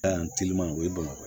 o ye bamakɔ